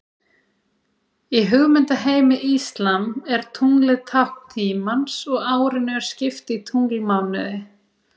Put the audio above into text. Í hugmyndaheimi íslam er tunglið tákn tímans og árinu er skipt í tunglmánuði.